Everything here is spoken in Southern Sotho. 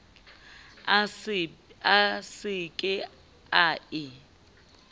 a se ke a e